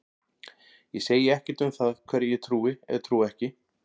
Ég segi ekkert um það hverju ég trúi eða trúi ekki.